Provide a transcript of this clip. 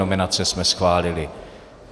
Nominace jsme schválili.